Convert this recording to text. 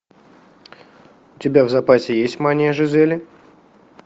у тебя в запасе есть мания жизели